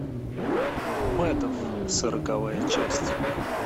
мейдофф сороковая часть